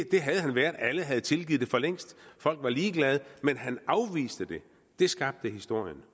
det havde han været alle havde tilgivet det forlængst folk var ligeglade men han afviste det det skabte historien